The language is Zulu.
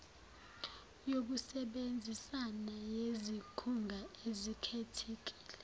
yokusebenzisana yezikhungo ezikhethekile